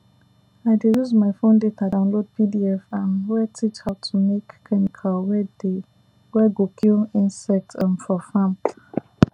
i dey use my fon data download pdf um wey teach how to make chemical wey dey wey go kill insect um for farm